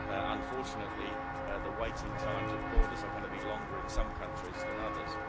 Unfortunately, the waiting times at borders are going to be longer in some countries than others.